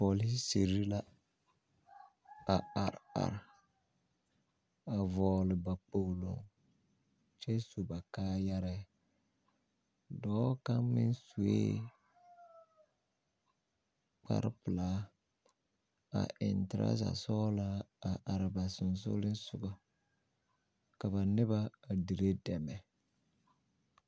Pɔlisiri la a areare a vɔɔle ba kpoolo kyɛ su ba kaayarɛɛ dɔɔ kaŋ meŋ sue kparpelaa a eŋ trazasɔɔlaa a are ba sonsooleŋsoɡa ka ne ba a dire dɛmɛ.